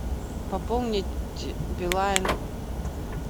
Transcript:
пополнить билайн